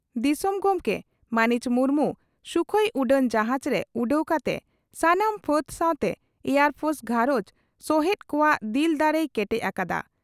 ᱫᱤᱥᱚᱢ ᱜᱚᱢᱠᱮ ᱢᱟᱹᱱᱤᱡ ᱢᱩᱨᱢᱩ ᱥᱩᱠᱷᱚᱭ ᱩᱰᱟᱹᱱ ᱡᱟᱦᱟᱡᱽ ᱨᱮ ᱩᱰᱟᱹᱣ ᱠᱟᱛᱮ ᱥᱟᱱᱟᱢ ᱯᱷᱟᱹᱫᱽ ᱥᱟᱣᱛᱮ ᱮᱭᱟᱨ ᱯᱷᱚᱨᱥ ᱜᱷᱟᱨᱚᱸᱡᱽ ᱥᱚᱦᱮᱛ ᱠᱚᱣᱟᱜ ᱫᱤᱞ ᱫᱟᱲᱮᱭ ᱠᱮᱴᱮᱡ ᱟᱠᱟᱫᱼᱟ ᱾